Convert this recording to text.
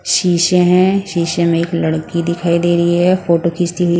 शीशे हैं शीशे में एक लड़की दिखाई दे रही है फोटो खींचती हुई --